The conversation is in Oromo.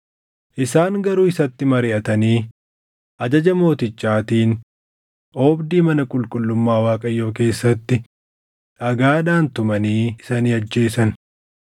Isaan garuu isatti mariʼatanii ajaja mootichaatiin oobdii mana qulqullummaa Waaqayyoo keessatti dhagaadhaan tumanii isa ni ajjeesan.